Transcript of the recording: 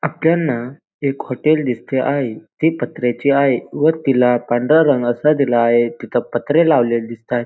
आपल्यांला एक हॉटेल दिसते आहे ते पत्र्याचे आहे व तिला पांढरा रंग असा दिला आहे तिथ पत्रे लावलेले दिसतायत.